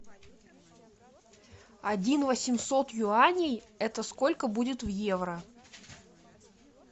один восемьсот юаней это сколько будет в евро